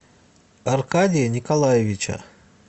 аркадия николаевича